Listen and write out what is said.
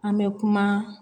An bɛ kuma